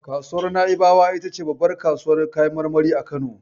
Kasuwar Na'ibawa ita ce babbar kasuwar kayan marmari a Kano.